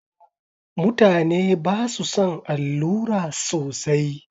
Mutane ba su son allura sosai.